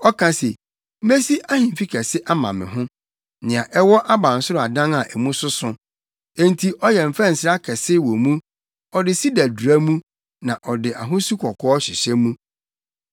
Ɔka se, ‘Mesi ahemfi kɛse ama me ho nea ɛwɔ abansoro adan a mu soso.’ Enti ɔyɛ mfɛnsere akɛse wɔ mu, ɔde sida dura mu na ɔde ahosu kɔkɔɔ hyehyɛ mu.